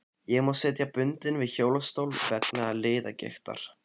Ég má sitja bundinn við hjólastól vegna liðagiktar.